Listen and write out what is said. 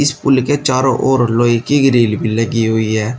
इस पूल के चारों ओर लोहे की ग्रिल भी लगी हुई है।